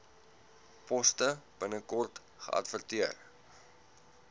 poste binnekort geadverteer